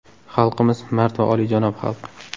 Xalqimiz – mard va olijanob xalq.